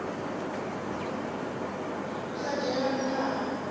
u sa dzhielwa ntha ha